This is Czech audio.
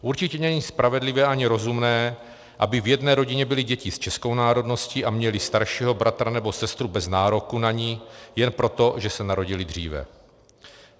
Určitě není spravedlivé ani rozumné, aby v jedné rodině byly děti s českou národností a měly staršího bratra nebo sestru bez nároku na ni jen proto, že se narodily dříve.